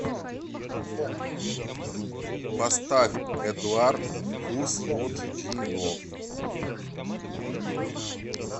поставь эдуард хуснутдинов